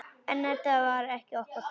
En þetta var okkar pláss.